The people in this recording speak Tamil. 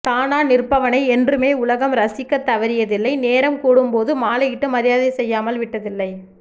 தானா நிற்பவனை என்றுமே உலகம் ரசிக்க தவறியதில்லை நேரம் கூடும் போது மாலையிட்டு மரியாதை செய்யாமல் விட்டதில்லை